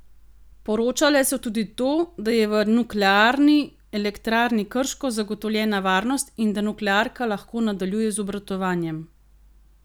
Poročale so tudi to, da je v Nuklearni elektrarni Krško zagotovljena varnost in da nuklearka lahko nadaljuje z obratovanjem.